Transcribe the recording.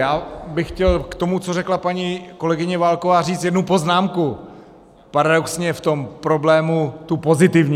Já bych chtěl k tomu, co řekla paní kolegyně Válková, říct jednu poznámku, paradoxně v tom problému tu pozitivní.